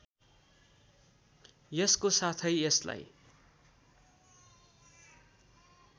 यसको साथै यसलाई